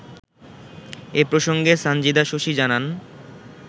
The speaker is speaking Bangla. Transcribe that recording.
এ প্রসংগে সানজিদা শশী জানান